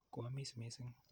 Ko amis missing'.